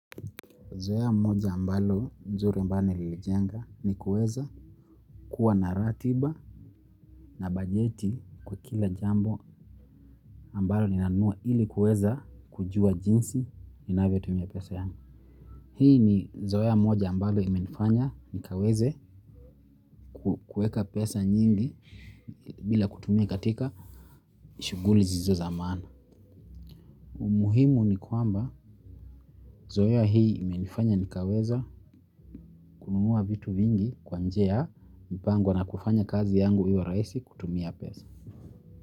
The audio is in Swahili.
Zoea moja ambalo nzuri ambalo nililijenga nikuweza kuwa na ratiba na bajeti kwa kila jambo ambalo inanua ili kueza kujua jinsi inavyo tumia pesa yangu. Hii ni zoea moja ambalo imenifanya nikaweze kuweka pesa nyingi bila kutumia katika shuguli zisizo zamana. Umuhimu ni kwamba zoea hii imenifanya nikaweza umuwa vitu vingi kwa njia mpango na kufanya kazi yangu iwa raisi kutumia pesa.